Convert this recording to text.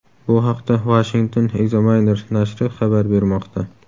Bu haqda Washington Examiner nashri xabar bermoqda .